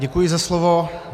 Děkuji za slovo.